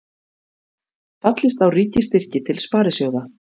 Fallist á ríkisstyrki til sparisjóða